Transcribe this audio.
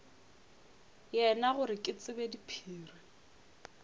yena gore ke tsebe diphiri